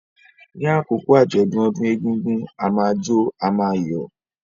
Ní àkókò àjọ̀dún ọdún egúngún, a máa jó, a máa yọ̀.